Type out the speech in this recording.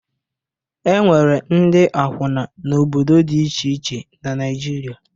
E nwere ndị akwụna n'obdodo dị iche iche na Naịjirịa.